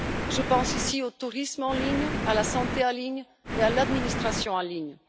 Je pense ici au tourisme en ligne, à la santé en ligne et à l'administration en ligne.